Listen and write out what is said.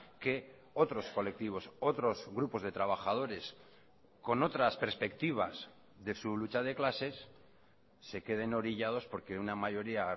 que otros colectivos otros grupos de trabajadores con otras perspectivas de su lucha de clases se queden orillados porque una mayoría